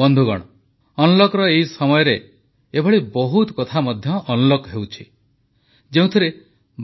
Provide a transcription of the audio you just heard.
ବନ୍ଧୁଗଣ ଅନଲକର ଏହି ସମୟରେ ଏଭଳି ବହୁତ କଥା ମଧ୍ୟ ଅନଲକ ହେଉଛି ଯେଉଁଥିରେ